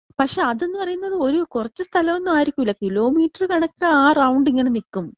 പക്ഷേ അതിന്ന് പറയുന്നത് കുറച്ച് സ്ഥലം ഒന്നും ആയിരിക്കൂല്ലാ കിലോമീറ്റർ കണ്ണക്ക ആ റൗണ്ട് ഇങ്ങനെ നിക്കും.